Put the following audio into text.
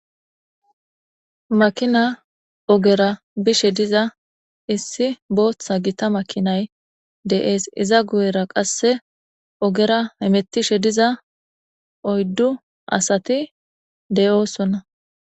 makina ogera bishe diza issi booththa gita makinay de7ees iza guyera qasse ogera emettishe diza oyddu asati deyoosonna